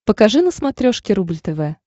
покажи на смотрешке рубль тв